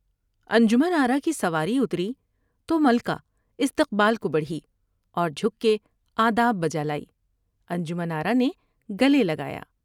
انجمن آرا کی سواری اتری تو ملکہ استقبال کو بڑھی اور جھک کے آداب بجالائی ۔انجمن آرا نے گلے لگایا ۔